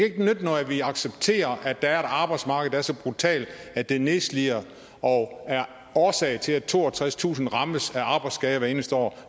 ikke nytte noget at vi accepterer at der er et arbejdsmarked der er så brutalt at det nedslider og er årsag til at toogtredstusind rammes af arbejdsskader hvert eneste år